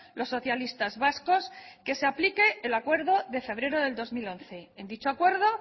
los socialistas vascos que se aplique el acuerdo de febrero del dos mil once en dicho acuerdo